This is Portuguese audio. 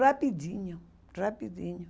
Rapidinho, rapidinho.